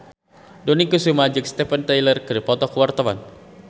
Dony Kesuma jeung Steven Tyler keur dipoto ku wartawan